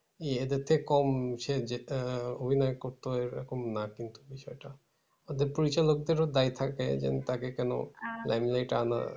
ইহাদের থেকে কম সে যেটা অভিনয় করতো এরকম না কিন্তু বিষয়টা। ওদের পরিচালক দেরও দায় থাকে যে আমি তাকে কেন limelight এ আনার